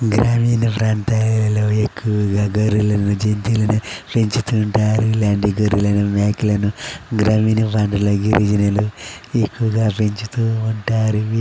గ్రామీణ ప్రాంతాలలో ఎక్కువగా గొర్రెలను జంతువులను పెంచుతూ ఉంటారు. ఇలాంటి గొర్రెలను మేకలను గ్రామీణ ప్రాంతంలో గిరిజనులు ఎక్కువగా పెంచుతూ ఉంటారు.